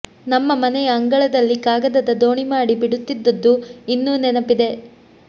ನಮ್ಮ ಮನೆಯ ಅಂಗಳದಲ್ಲಿ ಕಾಗದದ ದೋಣಿ ಮಾಡಿ ಬಿಡುತ್ತಿದ್ದದ್ದು ಇನ್ನು ನೆನಪಿದೆ